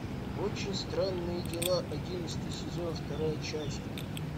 очень странные дела одиннадцатый сезон вторая часть